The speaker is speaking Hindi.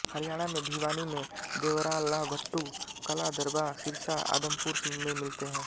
हरियाणा में भिवानी मे देवरालाभट्टू कलां दरबा सिरसा आदमपुर में मिलते हैं